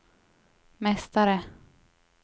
mästare